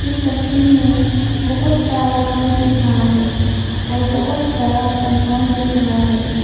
इस तस्वीर में बहुत सारा घर दिख रहा है और बहुत बड़ा कंपाउंड दिख रहा है।